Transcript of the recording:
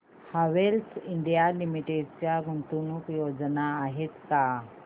Havells India limited च्या गुंतवणूक योजना आहेत का